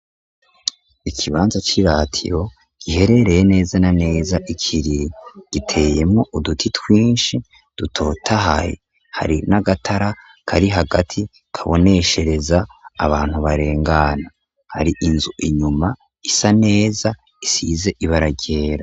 Ikibanza c'i ratiyo giherereye neza na neza ikiri giteyemo uduti twinshi dutotahaye hari n'agatara kari hagati kaboneshereza abantu barengana, hari inzu inyuma isa neza isize ibararyera.